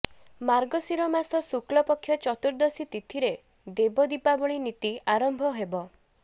ମାର୍ଗଶୀର ମାସ ଶୁକ୍ଳପକ୍ଷ ଚତୁର୍ଦ୍ଦଶୀ ତିଥିରେ ଦେବ ଦୀପାବଳୀ ନୀତି ଆରମ୍ଭ ହେବ